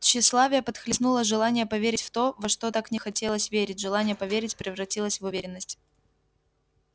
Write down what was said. тщеславие подхлестнуло желание поверить в то во что так хотелось верить желание поверить превратилось в уверенность